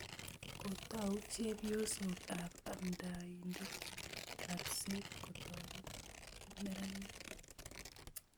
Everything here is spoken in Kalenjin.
Kotou chepyoset ap amndaindet napset kotoret meranik